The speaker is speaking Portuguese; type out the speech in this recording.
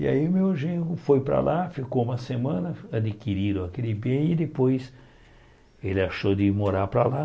E aí o meu genro foi para lá, ficou uma semana, adquiriram aquele bem e depois ele achou de morar para lá.